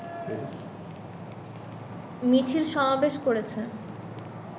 মিছিল সমাবেশ করেছে